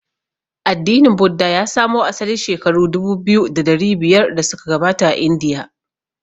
Addinin Buddha ya samo asali shekaru dubu biyu da dari biyar da suka gabata a Indiya.